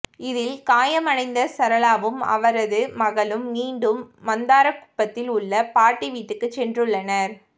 இதில் காயமடைந்த சரளாவும் அவரது மகளும் மீண்டும் மந்தார குப்பத்தில் உள்ள பாட்டி வீட்டுக்குச் சென்றுள்ளனர்